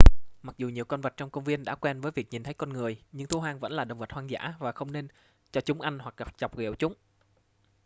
mặc dù nhiều con vật trong công viên đã quen với việc nhìn thấy con người nhưng thú hoang vẫn là động vật hoang dã và không nên cho chúng ăn hoặc chọc ghẹo chúng